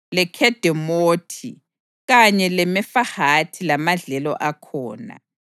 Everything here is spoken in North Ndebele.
leKhedemothi kanye leMefahathi lamadlelo akhona;